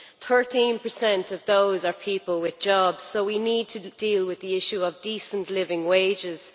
13 of those are people with jobs, so we need to deal with the issue of decent living wages.